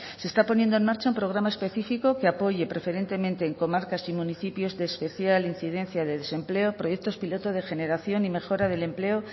se está poniendo en marcha un programa específico que apoye preferentemente en comarcas y municipios de especial incidencia de desempleo proyectos piloto de generación y mejora del empleo